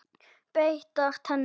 Beittar tennur.